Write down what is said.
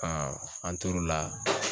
Ɔn an tor'o la